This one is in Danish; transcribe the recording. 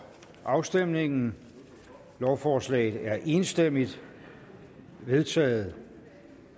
afstemningen lovforslaget er enstemmigt vedtaget